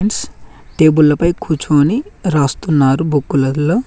టేబుల్ల పై కూర్చొని రాస్తున్నారు బుక్కులల్లో .